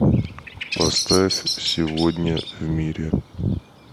поставь сегодня в мире